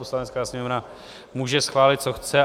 Poslanecká sněmovna může schválit, co chce.